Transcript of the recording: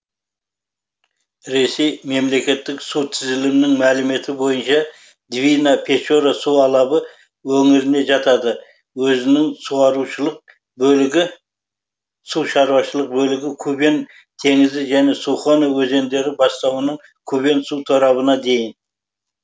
ресей мемлекеттік су тізілімінің мәліметі бойынша двина печора су алабы өңіріне жатады өзінің сушаруашылық бөлігі кубень теңізі және сухона өзендері бастауынан кубен су торабына дейін